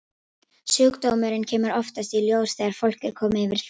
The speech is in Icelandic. Sjúkdómurinn kemur oftast í ljós þegar fólk er komið yfir fertugt.